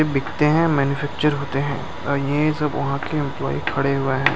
बिकते हैं मैन्युफैक्चर होते हैं ये सब वहाँ के एम्पलॉय खड़े हुए है।